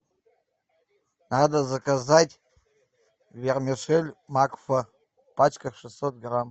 надо заказать вермишель макфа пачка шестьсот грамм